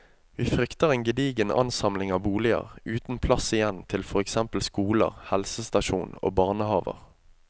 Vi frykter en gedigen ansamling av boliger, uten plass igjen til for eksempel skoler, helsestasjon og barnehaver.